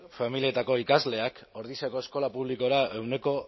familietako ikasleak ordiziako eskola publikora ehuneko